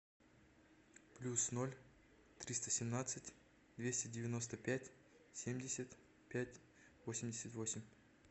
плюс ноль триста семнадцать двести девяносто пять семьдесят пять восемьдесят восемь